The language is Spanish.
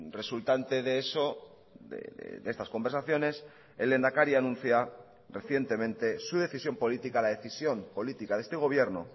resultante de eso de estas conversaciones el lehendakari anuncia recientemente su decisión política la decisión política de este gobierno